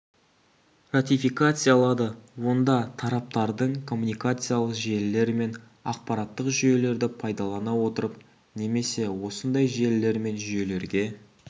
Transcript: ратификациялады онда тараптардың коммуникациялық желілер мен ақпараттық жүйелерді пайдалана отырып немесе осындай желілер мен жүйелерге